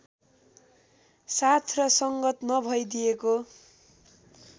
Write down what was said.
साथ र संगत नभइदिएको